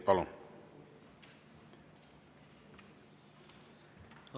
Palun!